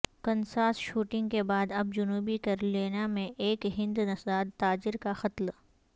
Kansas shooting کے بعد اب جنوبی کیرولینا میں ایک ہند نژاد تاجر کا قتل